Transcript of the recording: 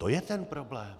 To je ten problém.